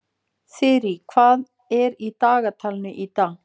Þyrí, hvað er í dagatalinu í dag?